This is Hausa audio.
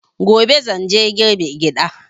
Gobe zan je girbe gyaɗa.